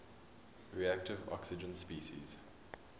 reactive oxygen species